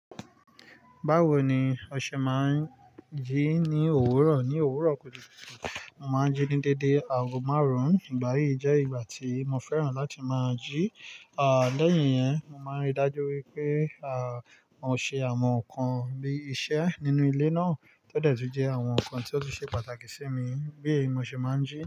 Báwo ni o ṣe máa ń jí ni òwúrọ̀, ni òwúrọ̀ kùtùkùtù mo ma n jí ni déédéé aago márùn, ìgbà yìí je ìgbà ti mo fẹ́ràn láti ma jí, a lẹhin yẹn mo ma n rí dájú wípé a mo ṣe àwọn ǹkan bí iṣẹ́ nínú ilé náà, tọ dẹ ti jẹ àwọn ǹkan ti o ṣe pàtàkì si mi, bí èyí mo ṣe má n jí.